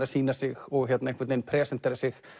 að sýna sig og presentera sig